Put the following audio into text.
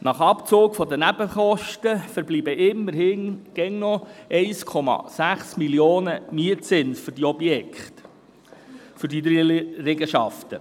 Nach Abzug der Nebenkosten verbleibt immerhin immer noch ein Mietzins in der Höhe von 1,6 Mio. Franken für diese drei Liegenschaften.